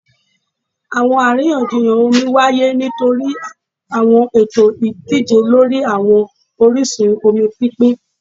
Awọn ariyanjiyan omi waye nitori awọn ẹtọ idije lori awọn orisun omi pinpin